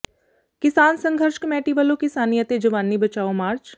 ਕਿਸਾਨ ਸੰਘਰਸ਼ ਕਮੇਟੀ ਵੱਲੋਂ ਕਿਸਾਨੀ ਅਤੇ ਜਵਾਨੀ ਬਚਾਓ ਮਾਰਚ